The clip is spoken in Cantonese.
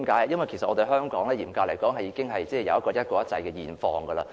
因為嚴格來說，香港已出現"一國一制"的現況。